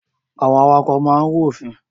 Àwọn awakọ̀ máa ń rú òfin.